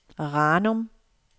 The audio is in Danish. Ranum